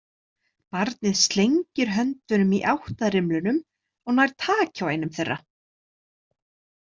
Barnið slengir höndum í átt að rimlunum og nær taki á einum þeirra.